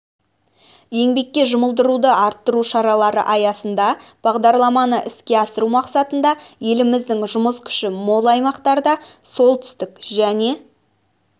еңбекке жұмылдыруды арттыру шаралары аясында бағдарламаны іске асыру мақсатында еліміздің жұмыс күші мол аймақтарда солтүстік және